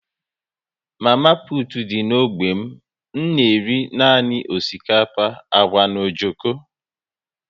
Mama putu dị n'ógbè m na-ere nanị osikapa, agwa na ojoko